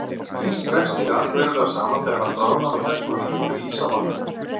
Ís dregst líka allverulega saman þegar hann bráðnar og þess vegna flýtur ís á vatni.